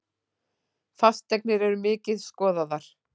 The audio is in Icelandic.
Fasteignir eru mikið skoðaðar